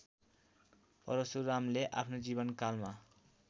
परशुरामले आफ्नो जीवनकालमा